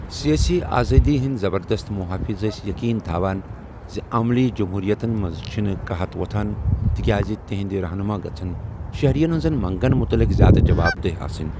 سیٲسی آزٲدی ہُند زبردست مُحٲفِظ سین یقین تھوان زِ عملی جمہوٗرِیتن منز چھِنہٕ قحط ووتھان تِكیازِ تِہندِ رہنما گژھن شہرِین ہنزن منگن مُتعلق زیادٕ جواب دہ آسٕنۍ ۔